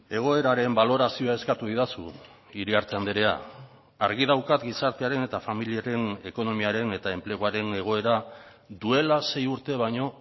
egoeraren balorazioa eskatu didazu iriarte andrea argi daukat gizartearen eta familiaren ekonomiaren eta enpleguaren egoera duela sei urte baino